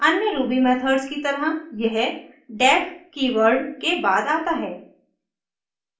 अन्य ruby methods की तरह यह def कीवर्ड के बाद आता है